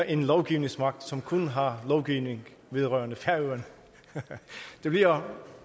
en lovgivningsmagt som kun har lovgivning vedrørerende færøerne det bliver